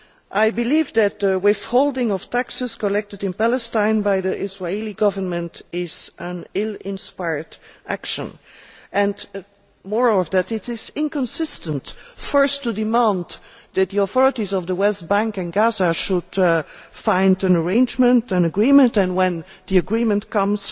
I believe that withholding of taxes collected in Palestine by the Israeli Government is an ill inspired action, and what is more, it is inconsistent first to demand that the authorities of the West Bank and Gaza should find an arrangement an agreement and when the agreement comes,